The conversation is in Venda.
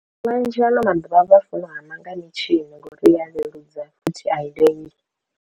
Vhanzhi ano maḓuvha vha funa u hama nga mitshini nga uri iya leludza futhi i lengi.